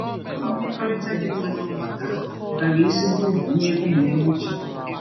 Mmekọrịta dị mma n’ọgbakọ ahụ bara ezigbo uru nye ụmụ m nwoke.